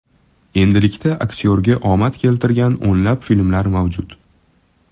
Endilikda aktyorga omad keltirgan o‘nlab filmlar mavjud.